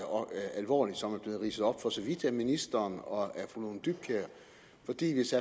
alvorligt som er blevet ridset op for så vidt af ministeren og af fru lone dybkjær fordi hvis